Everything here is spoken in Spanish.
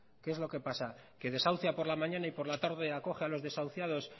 qué es lo que pasa que desahucia por la mañana y por la tarde acoge a los desahuciados